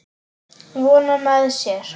Vona með sér.